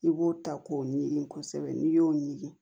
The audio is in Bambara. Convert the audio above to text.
I b'o ta k'o ɲigin kosɛbɛ n'i y'o ɲini